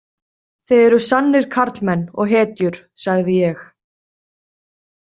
Þið eruð sannir karlmenn og hetjur, sagði ég.